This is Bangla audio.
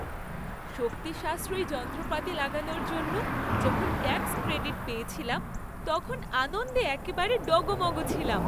শক্তি সাশ্রয়ী যন্ত্রপাতি লাগানোর জন্য যখন ট্যাক্স ক্রেডিট পেয়েছিলাম তখন আনন্দে একেবারে ডগমগ ছিলাম।